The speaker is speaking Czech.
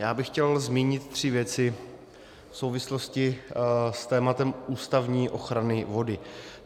Já bych chtěl zmínit tři věci v souvislosti s tématem ústavní ochrany vody.